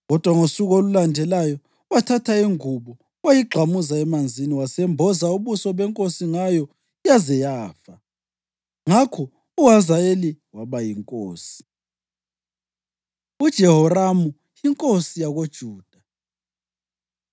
Kodwa ngosuku olulandelayo wathatha ingubo, wayigxamuza emanzini, wasembomboza ubuso benkosi ngayo yaze yafa. Ngakho uHazayeli waba yinkosi. UJehoramu Yinkosi YakoJuda